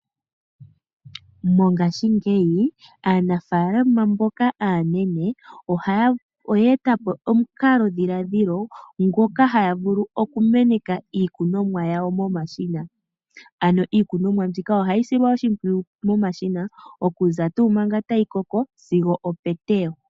Mongaashingeyi aanafaalama mboka aanene oya etapo omukalo dhilaadhilo ngoka haya vulu okumeneka iikunonwa yayo momashina . Iikunomwa mbika ohayi silwa oshimpwiyu manga tayikoko sigo oketewo.